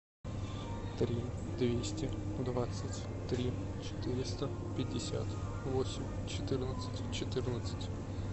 три двести двадцать три четыреста пятьдесят восемь четырнадцать четырнадцать